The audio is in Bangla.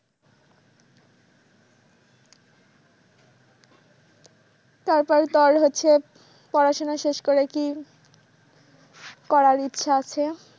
তারপরে তোর হচ্ছে পড়াশুনা শেষ করে কি করার ইচ্ছা আছে?